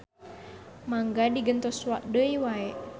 Mangga digentos deui wae.